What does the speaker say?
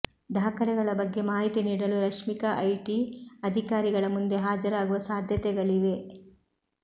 ದಾಖಲೆಗಳ ಬಗ್ಗೆ ಮಾಹಿತಿ ನೀಡಲು ರಶ್ಮಿಕಾ ಐಟಿ ಅಧಿಕಾರಿಗಳ ಮುಂದೆ ಹಾಜರಾಗುವ ಸಾಧ್ಯತೆಗಳಿವೆ